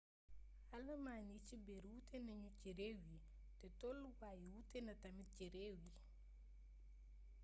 alamaan yi ci biir wuuté nañu ci réew yi té tollu waay yi wuuténa tamit ci réew yi